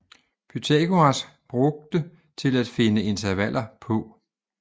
Pythagoras brugte til at finde intervaller på